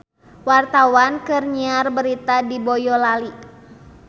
Wartawan keur nyiar berita di Boyolali